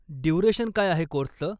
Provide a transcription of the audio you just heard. Duration काय आहे कोर्सचं?